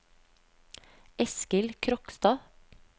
Eskil Krogstad